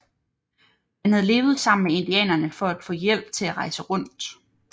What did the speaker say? Han havde levet sammen med indianerne for at få hjælp til at rejse rundt